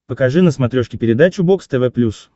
покажи на смотрешке передачу бокс тв плюс